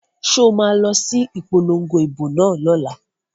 So ma lọ sí ìpolongo ìbò náà lọ́la?